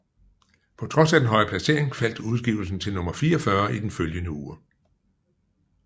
På trods af den høje placering faldt udgivelsen til nummer 44 i den følgende uge